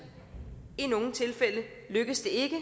i nogle tilfælde lykkes det ikke